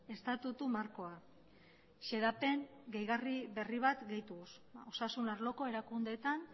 estatutu markoa xedapen gehigarri berri bat gehituz osasun arloko erakundeetan